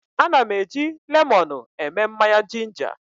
Ana m eji lemọnụ eme mmanya jinja.